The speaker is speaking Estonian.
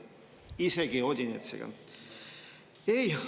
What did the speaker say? Isegi Odinetsiga!